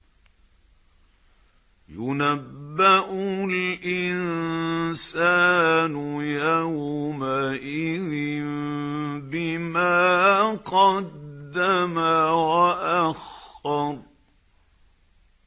يُنَبَّأُ الْإِنسَانُ يَوْمَئِذٍ بِمَا قَدَّمَ وَأَخَّرَ